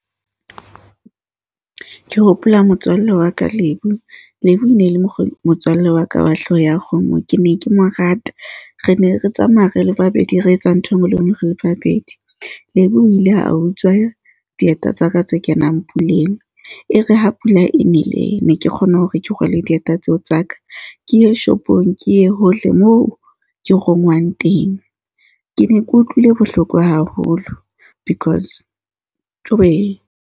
Ke hopola motswalle wa ka, Lebo. Lebo le ne le mokgwa, motswalle wa ka wa hlooho ya kgomo. Ke ne ke mo rata. Re ne re tsamaya re le babedi, re etsa ntho e nngwe le e nngwe re le babedi. Lebo o ile a utswa dieta tsa ka tse kenang puleng. E re ha pula e nele ne ke kgona hore ke rwale dieta tseo tsa ka. Ke ye shopong, ke ye hohle moo ke rongwang teng. Ke ne ke utlwile bohloko haholo, because Jobe, .